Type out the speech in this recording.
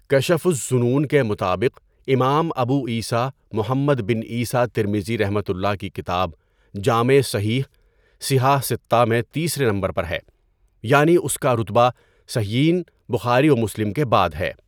کَشفُ الظُّنُون کے مطابق امام ابو عیسیٰ محمد بن عیسیٰ ترمذیؒ کی کتاب جامع صحیح، صِحاح سِتَّہ میں تیسرے نمبر پر ہے، یعنی اس کا رتبہ صحیحَین بخاری و مسلم کے بعد ہے۔